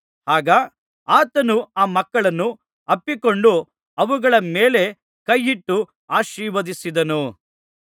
ಆಗ ಆತನು ಆ ಮಕ್ಕಳನ್ನು ಅಪ್ಪಿಕೊಂಡು ಅವುಗಳ ಮೇಲೆ ಕೈಯಿಟ್ಟು ಆಶೀರ್ವದಿಸಿದನು